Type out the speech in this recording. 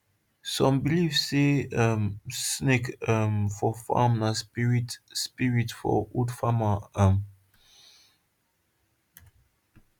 some believe say um snake um for farm na spirit spirit of old farmer um